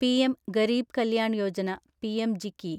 Pradhan Mantri Garib Kalyan Yojana ( P M G K Y)